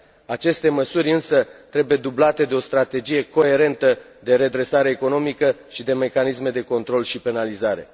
Aceste măsuri însă trebuie dublate de o strategie coerentă de redresare economică și de mecanisme de control și penalizare.